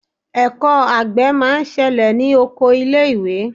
Ẹ̀kọ́ àgbẹ̀ máa ń ṣẹlẹ̀ ní oko ilé ìwé.